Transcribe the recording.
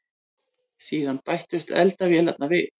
Síðan bættust eldavélarnar við.